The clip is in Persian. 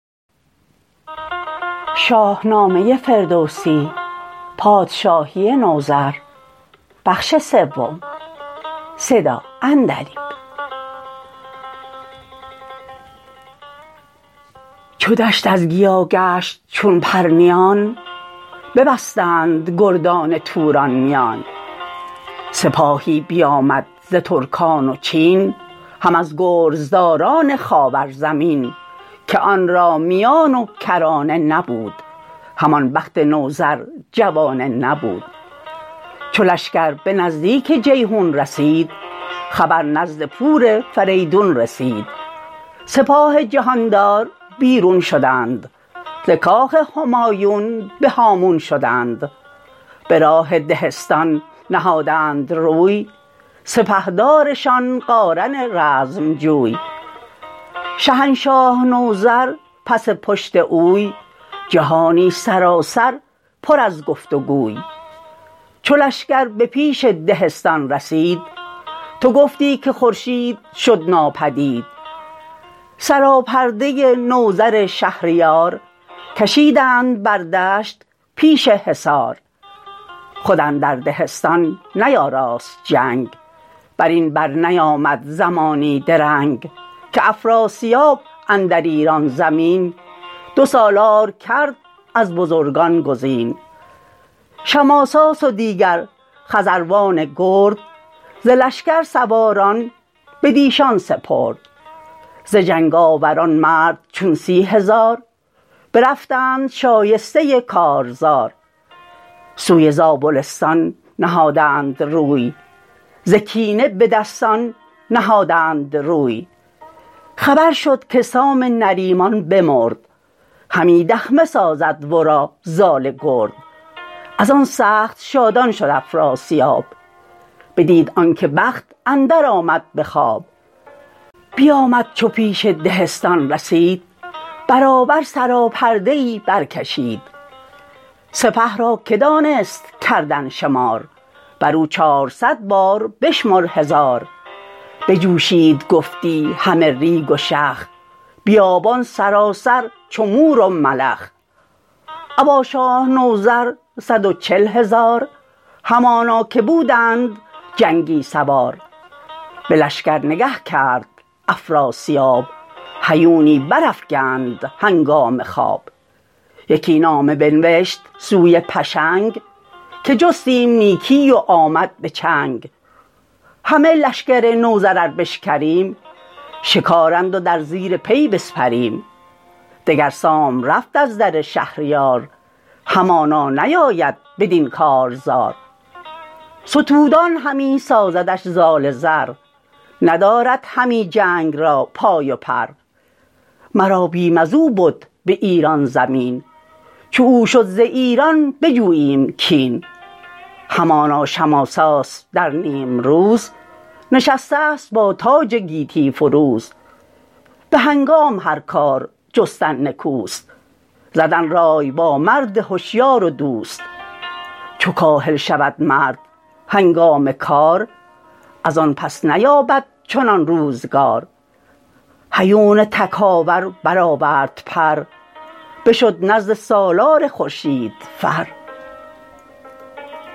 چو دشت از گیا گشت چون پرنیان ببستند گردان توران میان سپاهی بیامد ز ترکان و چین هم از گرزداران خاور زمین که آن را میان و کرانه نبود همان بخت نوذر جوانه نبود چو لشکر به نزدیک جیحون رسید خبر نزد پور فریدون رسید سپاه جهاندار بیرون شدند ز کاخ همایون به هامون شدند به راه دهستان نهادند روی سپهدارشان قارن رزم جوی شهنشاه نوذر پس پشت اوی جهانی سراسر پر از گفت و گوی چو لشکر به پیش دهستان رسید تو گفتی که خورشید شد ناپدید سراپرده نوذر شهریار کشیدند بر دشت پیش حصار خود اندر دهستان نیاراست جنگ برین بر نیامد زمانی درنگ که افراسیاب اندر ایران زمین دو سالار کرد از بزرگان گزین شماساس و دیگر خزروان گرد ز لشکر سواران بدیشان سپرد ز جنگ آوران مرد چون سی هزار برفتند شایسته کارزار سوی زابلستان نهادند روی ز کینه به دستان نهادند روی خبر شد که سام نریمان بمرد همی دخمه سازد ورا زال گرد ازان سخت شادان شد افراسیاب بدید آنکه بخت اندر آمد به خواب بیامد چو پیش دهستان رسید برابر سراپرده ای برکشید سپه را که دانست کردن شمار برو چارصد بار بشمر هزار بجوشید گفتی همه ریگ و شخ بیابان سراسر چو مور و ملخ ابا شاه نوذر صد و چل هزار همانا که بودند جنگی سوار به لشکر نگه کرد افراسیاب هیونی برافگند هنگام خواب یکی نامه بنوشت سوی پشنگ که جستیم نیکی و آمد به چنگ همه لشکر نوذر ار بشکریم شکارند و در زیر پی بسپریم دگر سام رفت از در شهریار همانا نیاید بدین کارزار ستودان همی سازدش زال زر ندارد همی جنگ را پای و پر مرا بیم ازو بد به ایران زمین چو او شد ز ایران بجوییم کین همانا شماساس در نیمروز نشستست با تاج گیتی فروز به هنگام هر کار جستن نکوست زدن رای با مرد هشیار و دوست چو کاهل شود مرد هنگام کار ازان پس نیابد چنان روزگار هیون تکاور برآورد پر بشد نزد سالار خورشید فر